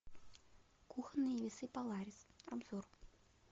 кухонные весы поларис обзор